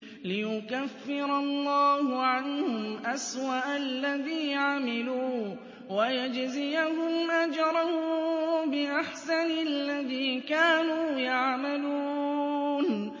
لِيُكَفِّرَ اللَّهُ عَنْهُمْ أَسْوَأَ الَّذِي عَمِلُوا وَيَجْزِيَهُمْ أَجْرَهُم بِأَحْسَنِ الَّذِي كَانُوا يَعْمَلُونَ